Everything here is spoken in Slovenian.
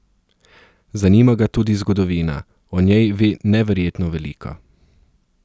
Zanima ga tudi zgodovina, o njej ve neverjetno veliko.